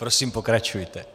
Prosím pokračujte.